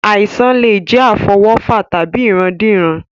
Àìsàn lè jẹ́ àfọwọ́fà tàbí ìrandíran